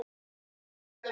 Og þó ekki!